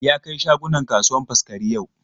Ya kai shagunan kasuwan Faskari yau.